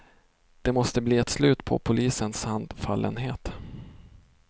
Det måste bli ett slut på polisens handfallenhet.